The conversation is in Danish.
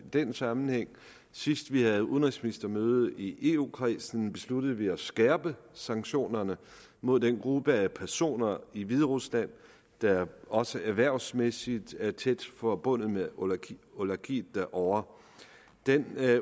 den sammenhæng sidst vi havde udenrigsministermøde i eu kredsen besluttede vi at skærpe sanktionerne mod den gruppe af personer i hviderusland der også erhvervsmæssigt er tæt forbundet med oligarkiet derovre den